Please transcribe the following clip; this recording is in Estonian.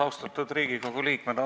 Austatud Riigikogu liikmed!